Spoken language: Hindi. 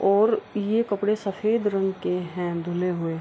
और ये कपड़े सफ़ेद रंग के हैं धुले हुए।